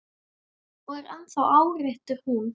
Og er ennþá áréttar hún.